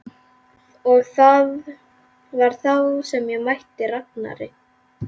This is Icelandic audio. Og það var þá sem ég mætti Ragnari.